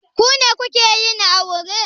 Ku ne kuke yin aure?